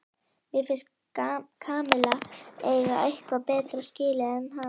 Mér finnst Kamilla eiga eitthvað betra skilið en hann.